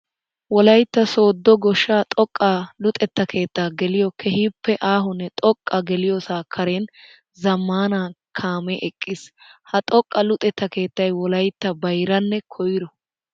Wolaytta soodo goshsha xoqqa luxetta keetta geliyo keehippe aahonne xoqqa geliyoosa karen zamaana kaame eqqiis. Ha xoqqa luxetta keettay wolayttan bayrranne koyro.